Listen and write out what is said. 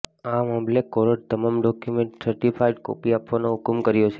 આ મામલે કોર્ટે તમામ ડોક્યુમેન્ટની સર્ટિફાઈડ કોપી આપવાનો હુકમ કર્યો છે